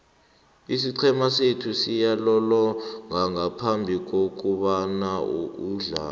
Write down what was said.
isiqhema sethu siyazilolonga ngaphambikokuthoma umdlalo